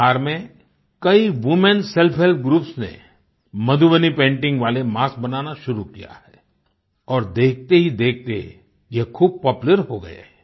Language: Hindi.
बिहार में कई वूमेन सेल्फ हेल्प ग्रुप्स ने मधुबनी पेंटिंग वाले मास्क बनाना शुरू किया है और देखतेहीदेखते ये खूब पॉपुलर हो गये हैं